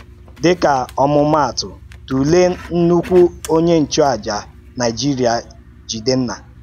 Dị̀ka òmúmàtụ̀, tụ̀lee ńnùkù ònye nchụàjà Nàìjíríà, Jìdenna.